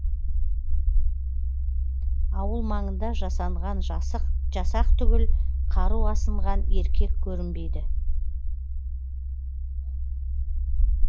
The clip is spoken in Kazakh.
ауыл маңында жасанған жасақ түгіл қару асынған еркек көрінбейді